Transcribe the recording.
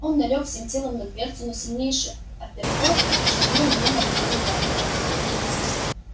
он налёг всем телом на дверцу но сильнейший апперкот швырнул его на колени гарри